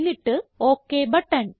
എന്നിട്ട് okay button